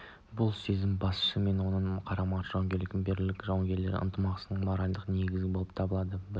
бұл сезім басшы мен оның қарамағындағылардың жауынгерлік бірліктің жауынгерлік ынтымақтастықтың моральдық негізі болып табылады ол бірі